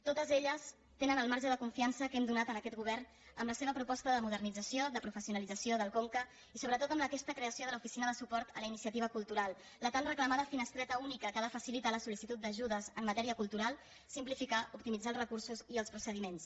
totes elles tenen el marge de confiança que hem donat a aquest govern amb la seva proposta de modernització de professio·nalització del conca i sobretot amb aquesta creació de l’oficina de suport a la iniciativa cultural la tan reclamada finestreta única que ha de facilitar la sol·licitud d’ajudes en matèria cultural simplificar opti·mitzar els recursos i els procediments